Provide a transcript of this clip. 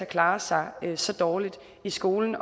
klarer sig så dårligt i skolen